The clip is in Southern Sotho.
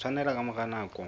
o tshwaneleha ka mora nako